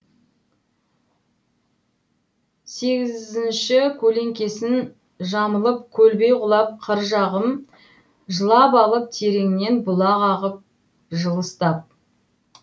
сегізінші көлеңкесін жамылып көлбей құлап қыр жағым жылап алып тереңнен бұлақ ағып жылыстап